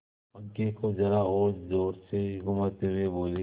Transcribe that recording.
पंखे को जरा और जोर से घुमाती हुई बोली